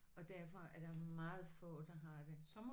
Og derfor er der meget få der har det